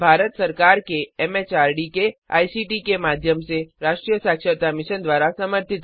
यह भारत सरकार के एमएचआरडी के आईसीटी के माध्यम से राष्ट्रीय साक्षरता मिशन द्वारा समर्थित है